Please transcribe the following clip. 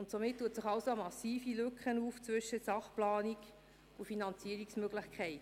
Damit öffnet sich eine massive Lücke zwischen Sachplanung und Finanzierungsmöglichkeit.